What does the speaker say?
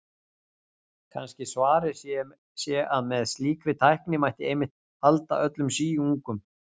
Kannski svarið sé að með slíkri tækni mætti einmitt halda öllum síungum.